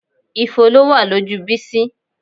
Ifo ló wà lójú Bísí